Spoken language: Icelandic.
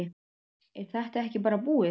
Er þetta ekki bara búið?